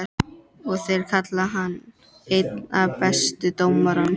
Og þeir kalla hann einn af bestu dómurunum?